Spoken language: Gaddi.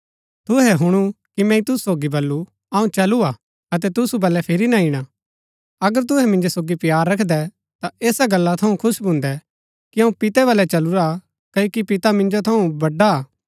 तुहै हुणु कि मैंई तुसु सोगी बल्लू अऊँ चलू हा अतै तुसु बलै फिरी ना ईणा अगर तुहै मिन्जो सोगी प्‍यार रखदै ता ऐसा गल्ला थऊँ खुश भून्दै कि अऊँ पितै बलै चलूरा क्ओकि पिता मिन्जो थऊँ बडा हा